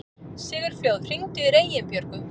Sigurfljóð, hringdu í Reginbjörgu.